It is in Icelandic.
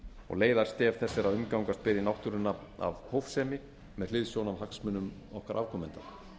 og leiðarstef þess er að að umgangast beri náttúruna af hófsemi með hliðsjón af hagsmunum okkar afkomenda